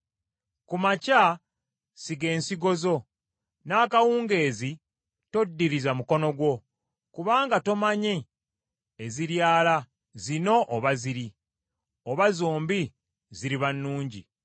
Ku makya siga ensigo zo, n’akawungeezi toddiriza mukono gwo; kubanga tomanyi eziryala, zino oba ziri, oba zombi ziriba nnungi.